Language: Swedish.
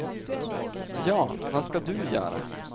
Ja, vad ska du göra?